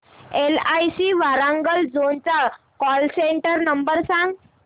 LIC Warangal zone चा call centre number सांग